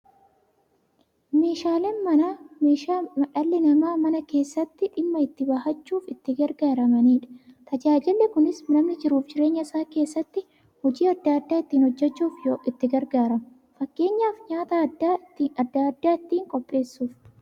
Meeshaaleen Manaa meeshaalee dhalli namaa Mana keessatti dhimma itti ba'achuuf itti gargaaramaniidha. Tajaajilli kunis, namni jiruuf jireenya isaa keessatti hojii adda adda ittiin hojjachuuf itti gargaaramu. Fakkeenyaf, nyaata adda addaa ittiin qopheessuuf.